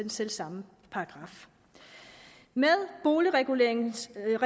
selv samme paragraf med boligreguleringslovens